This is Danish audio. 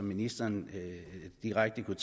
ministeren direkte kunne